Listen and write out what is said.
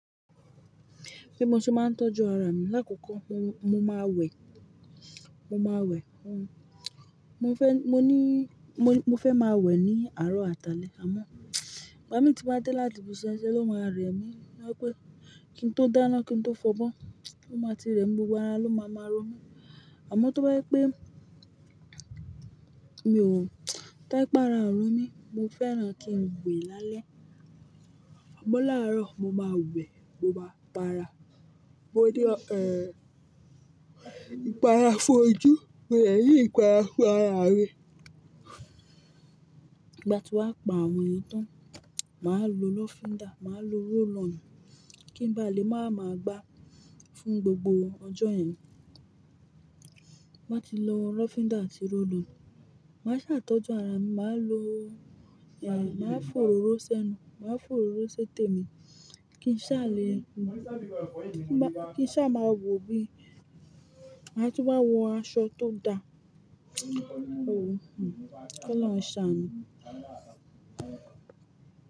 Bí mo ṣe máa ń tọ́jú ara mi. Láàkókò mo, mo máa wẹ̀, mo máa wẹ̀, mo mo fẹ́, mo ní, mo, mo fẹ́ máa wẹ̀ ní àárọ̀ àtàlé àmọ́, ìgbà mì tí n bá dé láti ibi iṣẹ́ ṣẹ ló máa rẹ̀ mí. Ó wípé kí n tó dáná, kí n tó fọ́ bọ́, ó máa ti rẹ́ mi, gbogbo ara ló máa ma ro mí. Àmọ́ tó bá yẹ pé mi ò tó bá yẹ pé ara mi mí, mo fẹ́ràn kí n wẹ̀ lálẹ́. Ìgbọn láàárọ̀ mo máa wẹ̀, mo máa para, mo ní, ìpara fojú, mo dẹ̀ní ìpara fún ara mi. Ìgbà tí wàá pa àwọn yìn tán, màá lo lọ́fíndà, màá lo roll on, kí n bá lè máa ma gbá fún gbogbo ọjọ́ yẹn. Mo bá ti lo lọ́fíndà àti rollo, màá ṣàtọ́jú ara mi, màá lo, màá fò òróró sẹ́nu, màá fò òróró sẹ́tẹ́ mi kí n sá le, kí n sá máa wò bí màá tún wá wọ aṣọ tó da. Kọlọ́un ṣà nù.